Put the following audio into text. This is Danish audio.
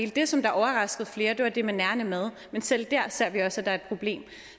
det som overraskede flere var det med nærende mad men selv der ser vi også at et problem